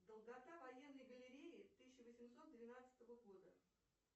долгота военной галереи тысяча восемьсот двенадцатого года